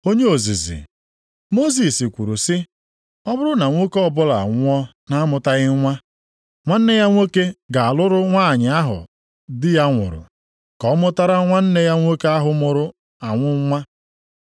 Onye ozizi, “Mosis kwuru sị, ọ bụrụ na nwoke ọbụla anwụọ na-amụtaghị nwa, nwanne ya nwoke ga-alụrụ nwanyị ahụ di ya nwụrụ, ka ọ mụtara nwanne ya nwoke ahụ nwụrụ anwụ nwa.